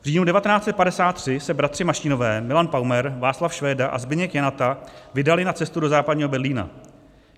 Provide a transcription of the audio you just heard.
V říjnu 1953 se bratři Mašínové, Milan Paumer, Václav Švéda a Zbyněk Janata vydali na cestu do Západního Berlína.